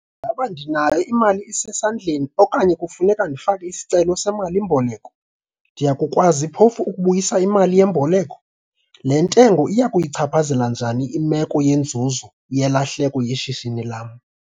Ingaba ndinayo imali esesandleni okanye kufuneka ndifake isicelo semali-mboleko? Ndiya kukwazi phofu ukubuyisa imali yemboleko? Le ntengo iya kuyichaphazela njani imeko yenzuzo - yelahleko yeshishini lam?